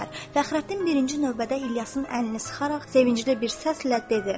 Fəxrəddin birinci növbədə İlyasın əlini sıxaraq sevincli bir səslə dedi: